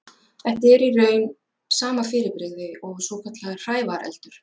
Þetta er í raun sama fyrirbrigði og svokallaður hrævareldur.